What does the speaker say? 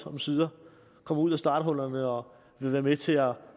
omsider kommer ud af starthullerne og vil være med til at